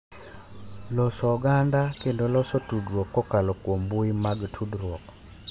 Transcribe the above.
Loso oganda kendo loso tudruok kokalo kuom mbui mag tudruok